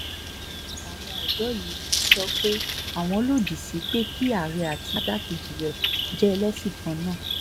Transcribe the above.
bákan náà làwọn ọ̀dọ́ yìí sọ pé àwọn lòdì sí pé kí àárẹ̀ àti igbákejì rẹ̀ jẹ́ ẹlẹ́sìn kan náà